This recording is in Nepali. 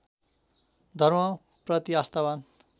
धर्मप्रति आस्थावान्